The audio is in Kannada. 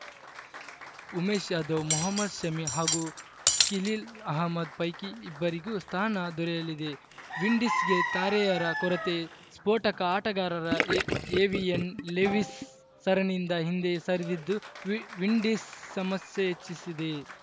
ಉಮೇಶ್‌ ಯಾದವ್‌ ಮೊಹಮದ್‌ ಶಮಿ ಹಾಗೂ ಖಿಲೀಲ್‌ ಅಹ್ಮದ್‌ ಪೈಕಿ ಇಬ್ಬರಿಗೂ ಸ್ಥಾನ ದೊರೆಯಲಿದೆ ವಿಂಡೀಸ್‌ಗೆ ತಾರೆಯರ ಕೊರತೆ ಸ್ಫೋಟಕ ಆಟಗಾರರ ಎ ಎವಿನ್‌ ಲೆವೀಸ್‌ ಸರಣಿಯಿಂದ ಹಿಂದೆ ಸರಿದಿದ್ದು ವಿ ವಿಂಡೀಸ್‌ ಸಮಸ್ಯೆ ಹೆಚ್ಚಿಸಿದೆ